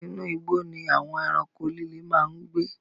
Inú igbó ni àwon ẹranko líle máa ń gbé